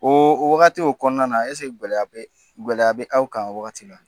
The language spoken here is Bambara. O o wagati o kɔnɔna na ɛsike gɛlɛya bɛ gɛlɛya bɛ aw kan o wagati la